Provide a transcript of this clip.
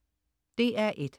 DR1: